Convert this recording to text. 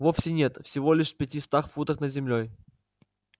вовсе нет всего лишь в пятистах футах над землёй